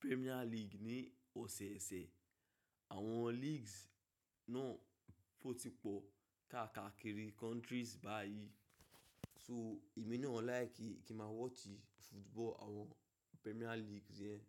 Premier League ní ọ̀sẹ̀ẹ̀sẹ̀. Àwọn leagues náà ó ti pọ̀ káàkakiri countries báyìí. So èmi náà laiki kí máa wátch football, àwọn Premier League yẹn.